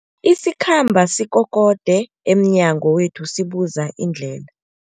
Isikhambi sikokode emnyango wethu sibuza indlela.